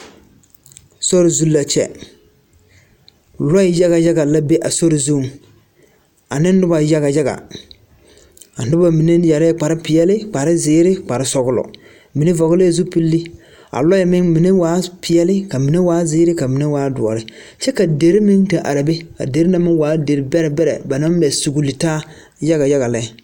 Sori zu la kyɛ lɔɛ yaga yagala be a sori zuŋ ane noba yaga yaga a noba mine yɛrɛɛ kparpeɛle kparzeere kparsɔglɔ mine vɔglɛɛ zupilli a lɔɛ meŋ mine waaɛ peɛle ka mine waa zeere ka mine waa doɔre kyɛ ka deri meŋ te are be a deri na meŋ waa deri bɛrɛ bɛrɛ ba naŋ mɛ sugli taa yaga yaga lɛ.